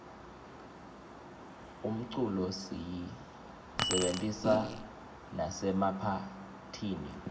umculo siyisebentisa nasemaphatihni